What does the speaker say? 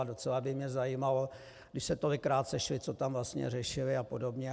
A docela by mě zajímalo, když se tolikrát sešli, co tam vlastně řešili, a podobně.